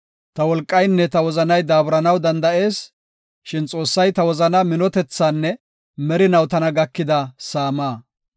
Ta wolqaynne ta wozanay daaburanaw danda7ees; shin Xoossay ta wozanaa minotethaanne merinaw tana gakida saamaa.